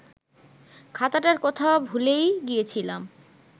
খাতাটার কথা ভুলেই গিয়েছিলাম